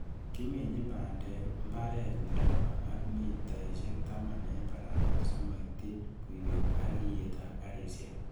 Kiminjin bandek mbaret nelaba ago mitaisiek taman en barabara simoityi buiwet ak iyetab karisiek.